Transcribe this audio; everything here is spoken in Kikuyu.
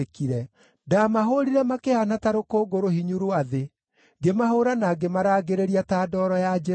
Ndaamahũũrire makĩhaana ta rũkũngũ rũhinyu rwa thĩ; ngĩmahũũra na ngĩmarangĩrĩria ta ndooro ya njĩra-inĩ.